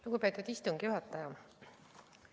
Lugupeetud istungi juhataja!